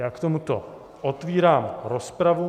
Já k tomuto otevírám rozpravu.